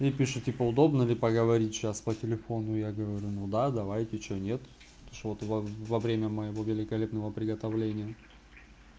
и пишет типа удобно ли поговорить сейчас по телефону я говорю ну да давайте что нет что ты вовремя моего великолепного приготовления